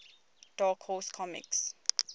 dark horse comics